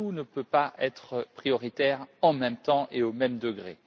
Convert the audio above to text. Tout ne peut pas être prioritaire en même temps et au même degré.